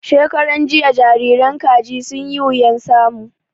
Shekaran jiya jariran Kaji sun yi wuyan samu